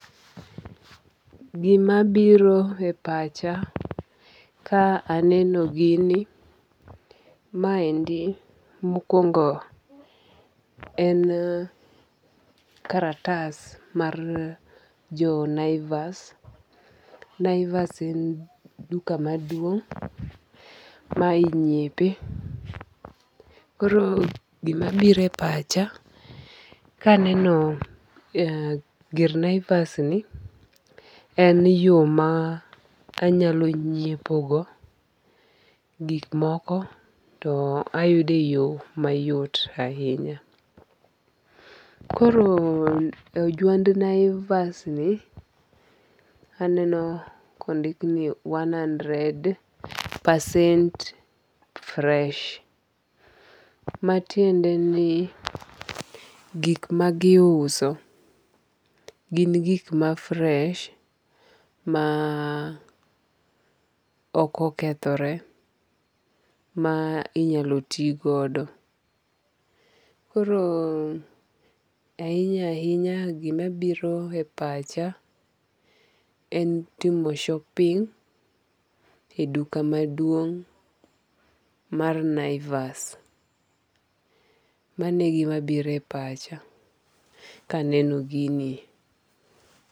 Gima biro e pacha ka aneno gini ma endi mokwongo en karatas mar jo Naivas. Naivas en duka maduong' ma inyiepe. Koro gima biro e pacha kaneno gir Naivas ni en yo ma anyalo nyiepo go, gik moko to ayude yo mayot ahinya. Koro juand Naivas ni a neno kondik ni one hundred percent fresh matiende ni gik magiuso gin gik ma fresh ma okokethore ma inyalo ti godo. Koro ahinya ahinya gima biro e pacha en timo shopping e duka maduong' mar Naivas. Mano e gima biro e pacha kaneno gini.